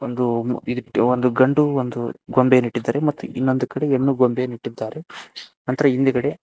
ಇದಕ್ಕೆ ಒಂದು ಗಂಡು ಒಂದು ಗೊಂಬೆಯನ್ನು ಇಟ್ಟಿದ್ದಾರೆ ಮತ್ತು ಇನ್ನೊಂದು ಕಡೆ ಹೆಣ್ಣು ಗೊಂಬೆಯನ್ನು ಇಟ್ಟಿದ್ದಾರೆ ನಂತರ ಹಿಂದುಗಡೆ --